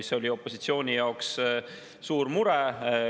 See oli opositsiooni jaoks suur mure.